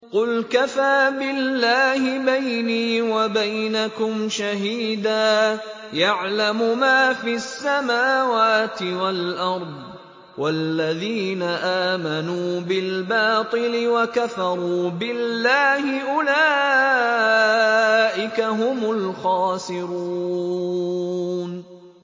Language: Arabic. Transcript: قُلْ كَفَىٰ بِاللَّهِ بَيْنِي وَبَيْنَكُمْ شَهِيدًا ۖ يَعْلَمُ مَا فِي السَّمَاوَاتِ وَالْأَرْضِ ۗ وَالَّذِينَ آمَنُوا بِالْبَاطِلِ وَكَفَرُوا بِاللَّهِ أُولَٰئِكَ هُمُ الْخَاسِرُونَ